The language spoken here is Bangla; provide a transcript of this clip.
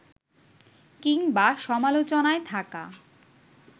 কিংবা সমালোচনায় থাকা